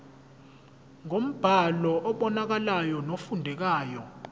ngombhalo obonakalayo nofundekayo